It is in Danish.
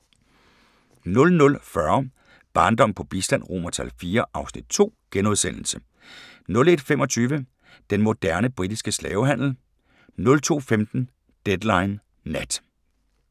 00:40: Barndom på bistand IV (Afs. 2)* 01:25: Den moderne britiske slavehandel 02:15: Deadline Nat